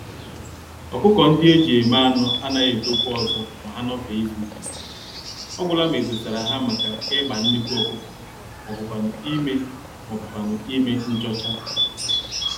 ọkụkọ-ndị-eji-eme-anụ anaghị etokwa ọzọ ma ha nọfee izuka iri, ọgwụla ma edosara ha màkà ịgba nnekwu ọkụkọ m'obu kwánụ ímé m'obu kwánụ ímé nchọcha.